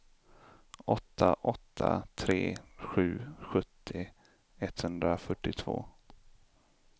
åtta åtta tre sju sjuttio etthundrafyrtiotvå